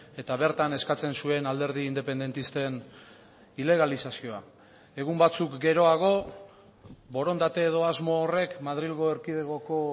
eta bertan eskatzen zuen alderdi independentisten ilegalizazioa egun batzuk geroago borondate edo asmo horrek madrilgo erkidegoko